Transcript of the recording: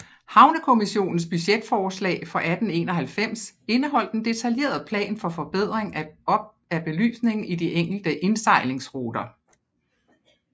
Havnekommissionens budgetforslag for 1891 indeholdt en detaljeret plan for forbedring af belysningen i de enkelte indsejlingsruter